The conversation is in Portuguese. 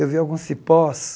Eu vi alguns cipós.